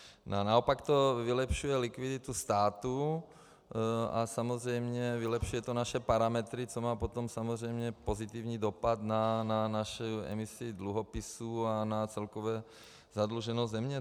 Naopak to vylepšuje likviditu státu a samozřejmě vylepšuje to naše parametry, což má potom samozřejmě pozitivní dopad na naši emisi dluhopisů a na celkovou zadluženost země.